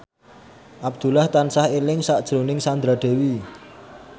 Abdullah tansah eling sakjroning Sandra Dewi